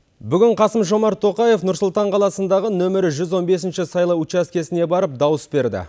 бүгін қасым жомарт тоқаев нұр сұлтан қаласындағы нөмірі жүз он бесінші сайлау учаскесіне барып дауыс берді